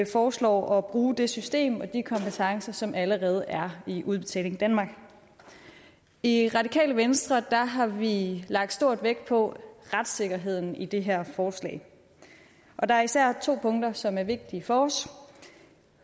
foreslår at bruge det system og de kompetencer som allerede er i udbetaling danmark i radikale venstre har vi lagt stor vægt på retssikkerheden i det her forslag og der er især to punkter som er vigtige for os